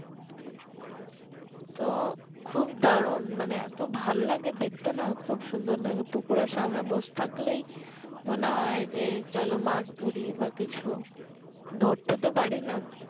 তো খুব দারুন এতো ভাল লাগে দেখতে না খুব সুন্দর লাগে পুকুরের সামনে বসথাকলেই মনে হয় যে চলো মাছ ধরি বা কিছু ধরতে তো পারিনা